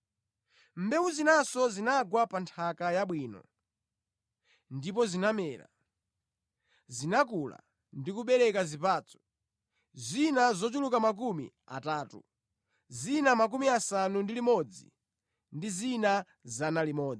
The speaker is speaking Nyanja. Mbewu zinanso zinagwa pa nthaka yabwino ndipo zinamera, zinakula ndi kubereka zipatso, zina zochuluka makumi atatu, zina makumi asanu ndi limodzi ndi zina 100.”